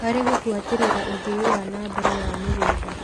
harĩ gũbuatĩrĩra ũthii wa na mbere wa mĩgũnd.